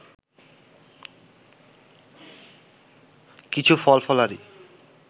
কিছু ফলফলারি